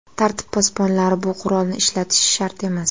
Tartib posbonlari bu qurolni ishlatishi shart emas.